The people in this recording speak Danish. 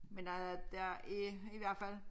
Men der der er i hvert fald